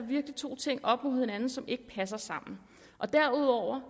to ting op mod hinanden som ikke passer sammen derudover